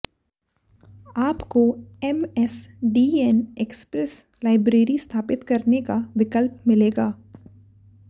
आपको MSDN express library स्थापित करने का विकल्प मिलेगा